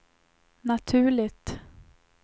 naturligt